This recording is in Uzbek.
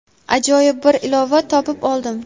ajoyib bir ilova topib oldim.